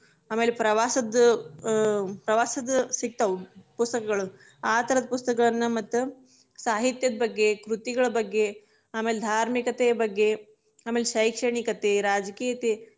ಆಮೇಲೆ ಪ್ರವಾಸದ, ಅಹ್ ಪ್ರವಾಸದ ಸಿಗ್ತಾವ ಪುಸ್ತಕಗಳು, ಆತರದ ಪುಸ್ತಕಗಳನ್ನ ಮತ್ತ ಸಾಹಿತ್ಯದ ಬಗ್ಗೆ ಕೃತಿಗಳ ಬಗ್ಗೆ, ಆಮೇಲೆ ಧಾರ್ಮಿಕತೆಯ ಬಗ್ಗೆ, ಆಮೇಲೆ ಶೈಕ್ಷಣಿಕತೆ ರಾಜಕೀಯತೇ.